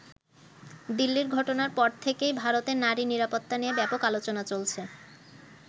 দিল্লির ঘটনার পর থেকেই ভারতে নারী নিরাপত্তা নিয়ে ব্যাপক আলোচনা চলছে।